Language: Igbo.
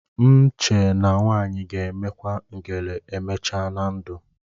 M chee na nwaanyị ga-emekwa ngele emechaa na ndụ